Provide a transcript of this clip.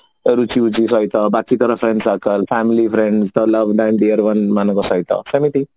ଏ ରୁଚି ଫୁଚି ସହିତ ବାକି ତୋର friend circle family dear ମାନଙ୍କ ସହିତ ସେମିତି